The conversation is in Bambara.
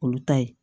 Olu ta ye